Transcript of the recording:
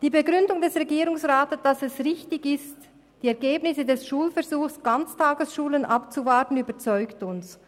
Die Begründung des Regierungsrats, wonach es richtig ist, die Ergebnisse des Schulversuchs Ganz tagesschulen abzuwarten, überzeugt uns.